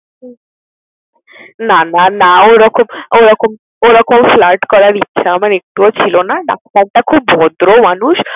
হুম! না না না ওরকম ওরকম ওরকম flirt করার ইচ্ছা আমার একটুও ছিল না। ডাক্তারটা খুব ভদ্র মানুষ।